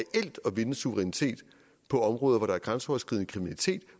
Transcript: vinde suverænitet på områder hvor der er grænseoverskridende kriminalitet